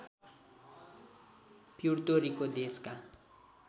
Puerto Rico देशका